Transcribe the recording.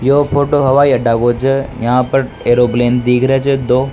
यो फोटो हवाई अड्डा को छ यहां पर एयरप्लेन दीख रेहा छ दो।